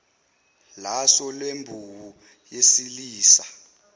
laso lembewu yesilisa